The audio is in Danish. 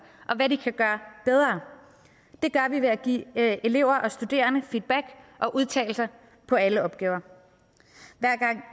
og hvad de kan gøre bedre det gør vi ved at give elever og studerende feedback og udtalelser på alle opgaver